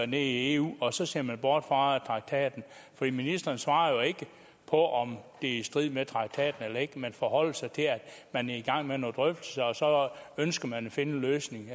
nede i eu og så ser man bort fra traktaten ministeren svarer jo ikke på om det er i strid med traktaten eller ikke man forholder sig til at man er i gang med nogle drøftelser og så ønsker man at finde en løsning